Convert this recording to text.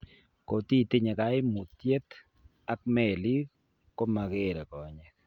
Kotitinye kaimutyet ak meelik komakeere konyek